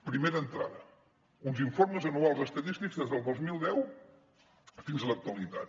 primera entrada uns informes anuals estadístics des del dos mil deu fins a l’actualitat